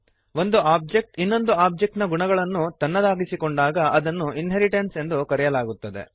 ಒಂದು ಒಬ್ಜೆಕ್ಟ್ ಇನ್ನೊಂದು ಒಬ್ಜೆಕ್ಟ್ ನ ಗುಣಗಳನ್ನು ತನ್ನದಾಗಿಸಿಕೊಂಡಾಗ ಅದನ್ನು ಇನ್ಹೆರಿಟೆನ್ಸ್ ಎಂದು ಕರೆಯಲಾಗುತ್ತದೆ